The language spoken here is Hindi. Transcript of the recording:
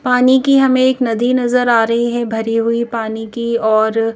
पानी की हमें एक नदी नजर आ रही है भरी हुई पानी की और--